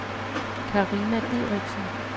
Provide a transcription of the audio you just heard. Carina Dideriksen